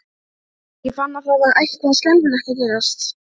Ég fann að það var eitthvað skelfilegt að gerast.